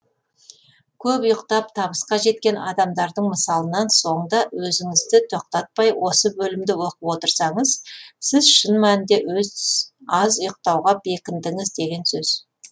көп ұйықтап табысқа жеткен адамдардың мысалынан соң да өзіңізді тоқтатпай осы бөлімді оқып отырсаңыз сіз шын мәнінде аз ұйықтауға бекіндіңіз деген сөз